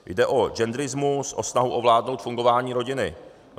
Jde o genderismus, o snahu ovládnout fungování rodiny.